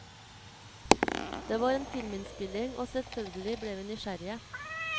Det var en filminnspilling, og selvfølgelig ble vi nysgjerrige.